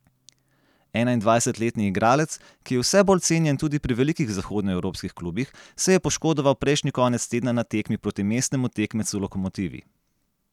Enaindvajsetletni igralec, ki je vse bolj cenjen tudi pri velikih zahodnoevropskih klubih, se je poškodoval prejšnji konec tedna na tekmi proti mestnemu tekmecu Lokomotivi.